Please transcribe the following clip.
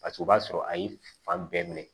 Paseke o b'a sɔrɔ a ye fan bɛɛ minɛ